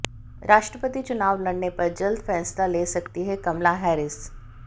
राष्ट्रपति चुनाव लड़ने पर जल्द फैसला ले सकती हैं कमला हैरिस